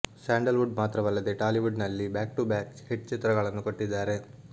sandal wood ಮಾತ್ರವಲ್ಲದೆ Tollywood ನಲ್ಲಿ back to back hit ಚಿತ್ರಗಳನ್ನು ಕೊಟ್ಟಿದ್ದಾರೆ